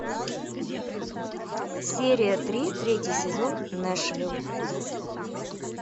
серия три третий сезон нэшвилл